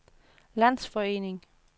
landsforening